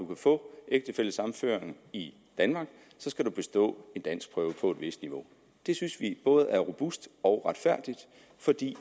få ægtefællesammenføring i danmark skal bestå en danskprøve på et vist niveau det synes vi både er robust og retfærdigt fordi